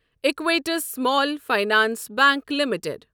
ایکویٹس small finance bank limited